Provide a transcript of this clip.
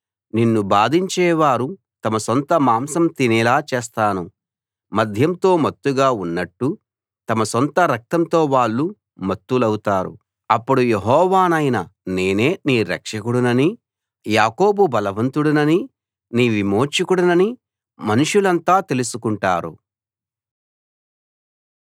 నిన్ను బాధించేవారు తమ సొంత మాంసం తినేలా చేస్తాను మద్యంతో మత్తుగా ఉన్నట్టు తమ సొంత రక్తంతో వాళ్ళు మత్తులవుతారు అప్పుడు యెహోవానైన నేనే నీ రక్షకుడిననీ యాకోబు బలవంతుడిననీ నీ విమోచకుడిననీ మనుషులంతా తెలుసుకుంటారు